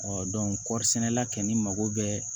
kɔɔri sɛnɛla kɛ ni mago bɛɛ